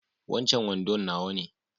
Wancan wando nawa ne